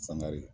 Sangare